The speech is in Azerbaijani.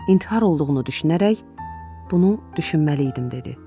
İntihar olduğunu düşünərək bunu düşünməliydim dedi.